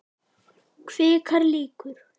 Kvikar líkur.